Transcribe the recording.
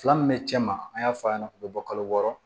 Fila min bɛ cɛ ma an y'a fɔ a ɲɛna k'u bɛ bɔ kalo wɔɔrɔ